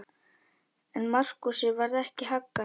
En Markúsi varð ekki haggað.